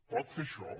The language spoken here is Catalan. pot fer això